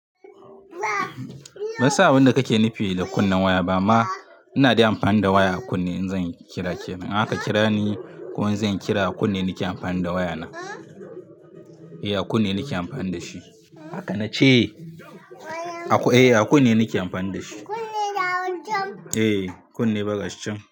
Ban san abin da kake nufi da kunnen waya ba. Ama ina dai amfani da waya a kunne in zan kira kiran. In aka kira ni ko in zan kira a kunne nake amfani da wayana. Eh a kunne nake amfani da shi. Haka na ce. Eh a kunne nake amfani da shi. Kunne da wancan? Eh kunne baƙa shi can.